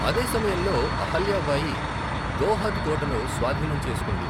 అదే సమయంలో, అహల్యా బాయి గోహద్ కోటను స్వాధీనం చేసుకుంది.